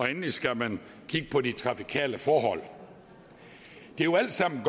endelig skal man kigge på de trafikale forhold det er jo alt sammen